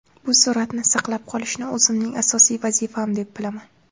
Bu sur’atni saqlab qolishni o‘zimning asosiy vazifam deb bilaman.